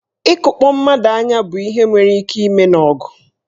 Ịkụkpọ mmadụ anya bụ ihe nwere ike ime n'ọgụ.